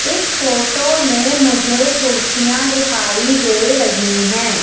इस फोटो में मुझे कुर्सियां दिखाई दे रही है।